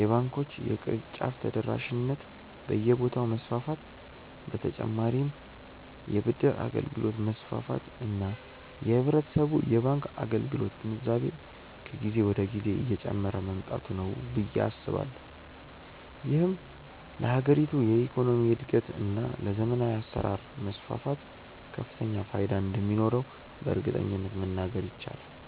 የባንኮች የቅርንጫፍ ተደራሽነት በየቦታው መስፋፋት በ ተጨማርም የ ብድር አገልግሎት መስፋፋት እና የህብረተሰቡ የባንክ አገልግሎት ግንዛቤ ከጊዜ ወደ ጊዜ እየጨመረ መምጣቱ ነው ብዬ አስባለሁ። ይህም ለሀገሪቱ የኢኮኖሚ እድገት እና ለዘመናዊ አሰራር መስፋፋት ከፍተኛ ፋይዳ እንደሚኖረውም በእርግጠኝነት መናገር ይቻላል።